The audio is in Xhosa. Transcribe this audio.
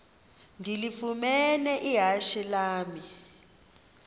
ndilifumene ihashe lam